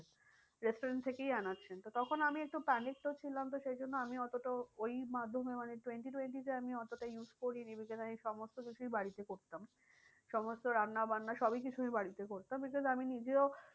Restaurants থেকেই আনাচ্ছেন তো তখন আমি একটু panic তো ছিলাম তো সেই জন্য আমি এতটাও ওই মাধ্যমে মানে twenty twenty তে আমি অতটা use করিনি because আমি সমস্ত কিছুই বাড়িতে করতাম। সমস্ত রান্না বান্না সবই কিছু আমি বাড়িতে করতাম because আমি নিজেও